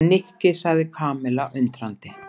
Nikki sagði Kamilla undrandi.